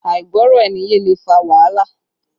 Àìgbọ́ra-ẹni-yé lè fa wàhálà